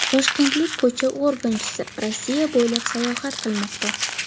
Toshkentlik ko‘cha organchisi Rossiya bo‘ylab sayohat qilmoqda.